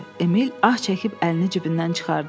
Emil ah çəkib əlini cibindən çıxartdı.